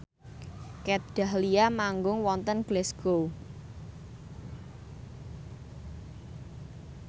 Kat Dahlia manggung wonten Glasgow